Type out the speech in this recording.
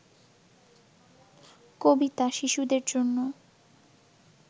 কবিতা শিশুদের জন্য